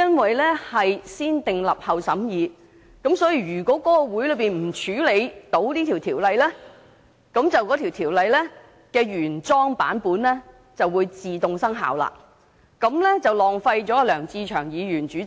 按照"先訂立後審議"的程序，如果在會議上處理該規例，該規例的原有版本便會自動生效。這便會浪費小組委員會主席梁志祥議員及